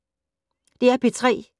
DR P3